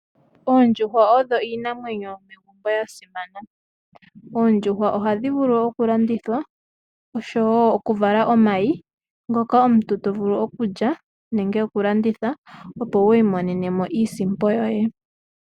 Oondjuhwa odho iinamwenyo yomegumbo yasimana. Oondjuhwa ohadhi vulu okulandithilwa oshowo okuvala omayi ngoka omuntu tovulu okulya nenge okulanditha opo wi imonenemo iisimpo yoye.